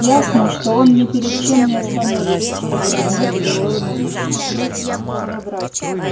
ясно что он ни перед чем не остановится чтобы вернуть былое могущество